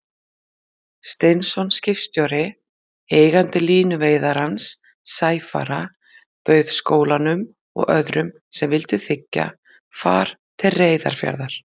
Steinsson skipstjóri, eigandi línuveiðarans Sæfara, bauð skólanum og öðrum sem vildu þiggja, far til Reyðarfjarðar.